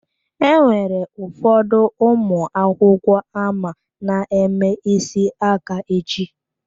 Enwere ụfọdụ ụmụ akwụkwọ ama na-eme isi aka echi.